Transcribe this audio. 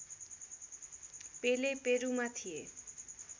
पेले पेरूमा थिए